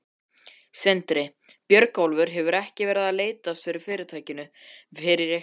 Sindri: Björgólfur hefur ekki leitast eftir fyrirtækinu við ykkur?